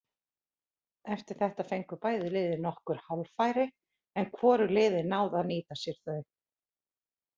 Eftir þetta fengu bæði lið nokkur hálffæri en hvorug liðin náðu að nýta sér þau.